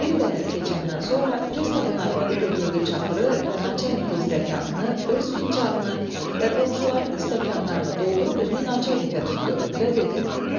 Bir qədər keçəndən sonra pristavın arvadı götürdü çaxırı və naçalnikin stəkanını, öz fincanını və qonşularının stəkanlarını doldurub üzünü naçalnikə tutdu və dedi: